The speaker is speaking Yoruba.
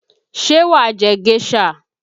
Ṣé wà á jẹ géṣà?